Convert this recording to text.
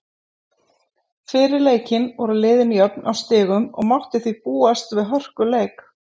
Fyrir leikinn voru liðin jöfn á stigum og mátti því búast við hörkuleik.